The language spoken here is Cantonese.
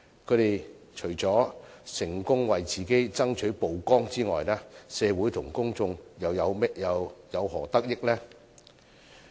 他們除了成功為自己爭取曝光外，社會和公眾又有何得益呢？